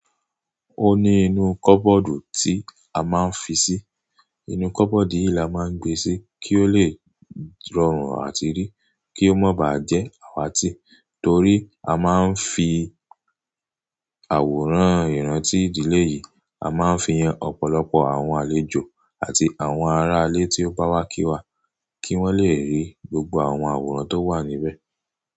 Ó ní inú kọ́bọ́ọ̀dù tí a máa ń fi sí. Inú kọ́bọ̀dù yìí la máa ń gbe sí kí ó lè rọrùn àti rí, kí ó má ba jẹ́ àwátì torí a máa ń fi àwòrán ìrántí ìdílé yìí, a máa ń fi ran ọ̀pọ̀lọpọ̀ àwọn àlejò àti àwọn aráalé tí ó bá wá kí wa kí wón lè rí gbogbo àwọn àwòrán tó wà níbẹ̀.